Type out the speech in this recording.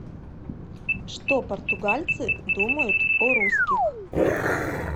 что португальцы думают о русских